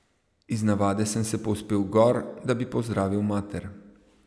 Iz navade sem se povzpel gor, da bi pozdravil mater.